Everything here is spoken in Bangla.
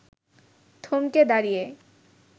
থমকে দাঁড়িয়ে